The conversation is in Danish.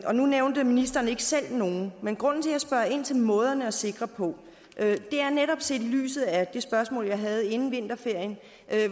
nu nævnte ministeren ikke selv nogen men grunden til at jeg spørger ind til måderne at sikre på er netop set i lyset af det spørgsmål jeg havde inden vinterferie